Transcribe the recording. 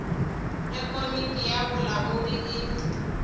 ge komiti ya bolamodi e